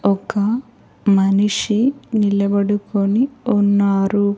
ఒక మనిషి నిలబడుకొని ఉన్నారు.